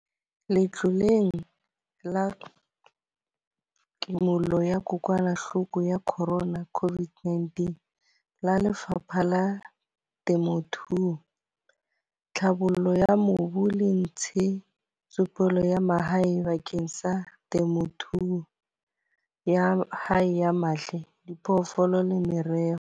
Letloleng la Kimollo ya kokwanahloko ya Corona, COVID-19, la Lefapha la Temothuo, Tlhabollo ya Mobu le Ntshetsopele ya Mahae bakeng sa temothuo ya hae ya mahe, diphoofolo le meroho.